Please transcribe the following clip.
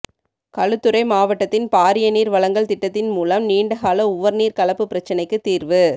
களுத்துறை மாவட்டத்தின் பாரிய நீர் வழங்கல் திட்டத்தின் மூலம் நீண்டகால உவர் நீர் கலப்பு பிரச்சினைக்கு தீர்வு